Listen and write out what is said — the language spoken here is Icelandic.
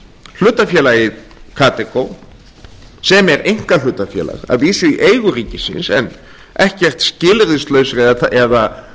hlutafélagið kadeco sem er einkahlutafélag að vísu í eigu ríkisins en ekki skilyrðislausri eða